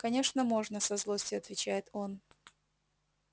конечно можно со злостью отвечает он